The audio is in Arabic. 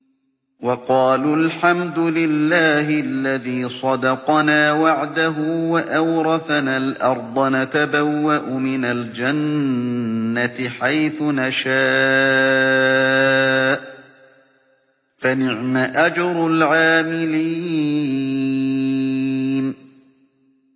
وَقَالُوا الْحَمْدُ لِلَّهِ الَّذِي صَدَقَنَا وَعْدَهُ وَأَوْرَثَنَا الْأَرْضَ نَتَبَوَّأُ مِنَ الْجَنَّةِ حَيْثُ نَشَاءُ ۖ فَنِعْمَ أَجْرُ الْعَامِلِينَ